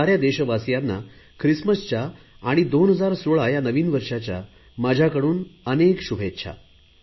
साऱ्या देशवासियांना ख्रिसमच्या आणि 2016 या नवीन वर्षांच्या माझ्याकडून अनेक शुभेच्छा